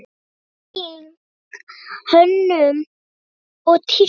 Einnig hönnun og tísku.